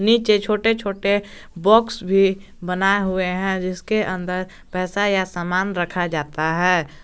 नीचे छोटे छोटे बॉक्स भी बनाए हुए हैं जिसके अंदर पैसा या सामान रखा जाता है।